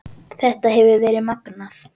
Þetta hefur verið magnað.